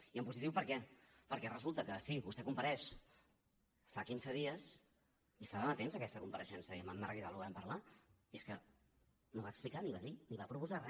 i en positiu per què perquè resulta que sí vostè compareix fa quinze dies i estàvem atents a aquesta compareixença i amb en marc vidal ho vàrem parlar i és que no va explicar ni va dir ni va proposar re